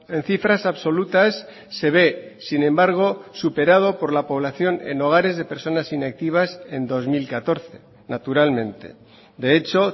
en cifras absolutas se ve sin embargo superado por la población en hogares de personas inactivas en dos mil catorce naturalmente de hecho